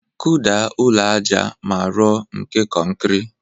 Kụda ụlọ aja a ma rọ nke kọnkrị